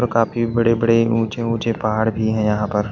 और काफी बड़े बड़े ऊंचे ऊंचे पहाड़ भी हैं यहां पर--